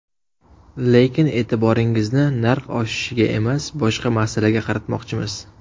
Lekin e’tiboringizni narx oshishiga emas, boshqa masalaga qaratmoqchimiz.